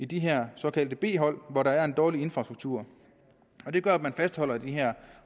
de her såkaldte b hold hvor der er en dårlig infrastruktur det gør at man fastholder de her